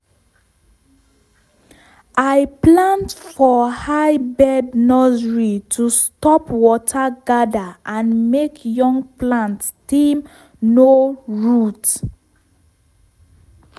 i plant for high bed nursery to stop water gather and make young plant stem no root.